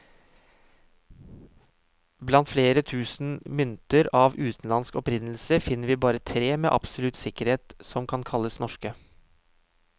Blant flere tusen mynter av utenlandsk opprinnelse, finner vi bare tre som med absolutt sikkerhet kan kalles norske.